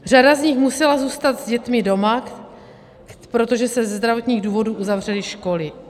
Řada z nich musela zůstat s dětmi doma, protože se ze zdravotních důvodů uzavřely školy.